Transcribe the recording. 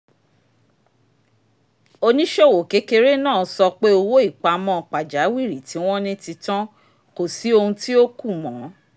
oníṣòwò kékeré náà sọ pé owó ìpamọ́ pajawìrì tí wọ́n ní ti tán kò sí ohun tí ó kù mọ́